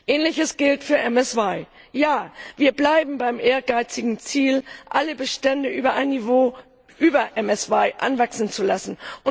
Ähnliches gilt für MSY Ja, wir bleiben beim ehrgeizigen Ziel, alle Bestände auf ein Niveau über MSY anwachsen zu lassen.